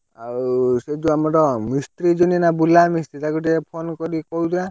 ଆଉ ସେଇ ଯଉ ଆମର ମିସ୍ତ୍ରୀ ନା ବୁଲା ମିସ୍ତ୍ରୀ ତାକୁ ଟିକେ phone କରିକି କହିଦବା।